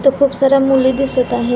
इथे खुप साऱ्या मुली दिसत आहे.